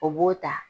O b'o ta